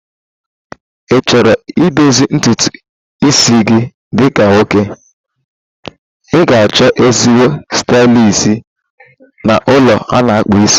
Ichoro i dozie ntutu isi gị dị ka nwoke, ịga achọ ezigbo stylist na ụlọ ana-akpu isi